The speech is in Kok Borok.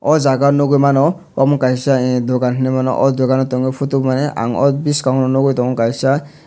aw jaaga nugui mano kaisa Emm dugan heneimano aw dugan o tongo photo mane ang oro boskango nugui tongo kaisa.